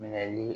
Minɛli